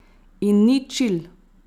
In ni čil.